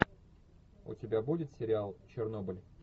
у тебя будет сериал чернобыль